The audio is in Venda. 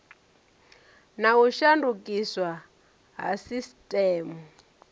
na u shandukiswa ha sisiteme